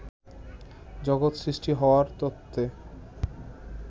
জগত সৃষ্টি হওয়ার তত্ত্বে